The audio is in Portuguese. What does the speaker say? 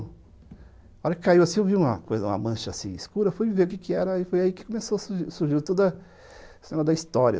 Na hora que caiu assim, eu vi uma mancha escura, fui ver o que que era e foi aí que surgiu toda a cena da história.